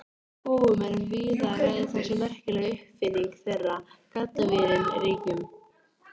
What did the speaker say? Settu eitthvað á fóninn, Svenni, biður Dísa.